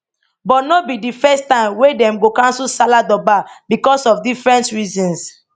but no be di first time wey dem go cancel salah durbar because of different reasons